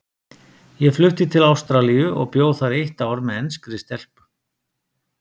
Ég flutti til Ástralíu og bjó þar eitt ár með enskri stelpu.